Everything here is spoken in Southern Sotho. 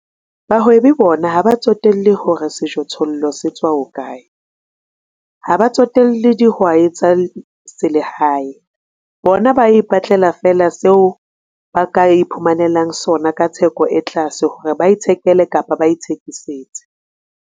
Bahwebi bona ha ba tsotelle hore sejothollo se tswa hokae, ha ba tsotelle dihwai tsa selehae. Bona ba ipatlela feela seo ba ka iphumanelang sona ka theko e tlase hore ba ithekele kapa ba ithekisetse.